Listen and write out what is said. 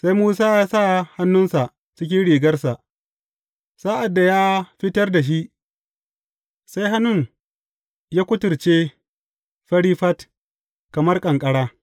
Sai Musa ya sa hannunsa cikin rigarsa, sa’ad da ya fitar da shi, sai hannun ya a kuturce fari fat, kamar ƙanƙara.